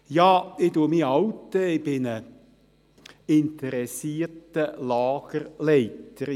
Ja, ich bin ein alter, ich bin ein interessierter Lagerleiter.